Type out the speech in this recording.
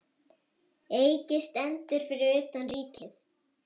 Eiki stendur fyrir utan Ríkið.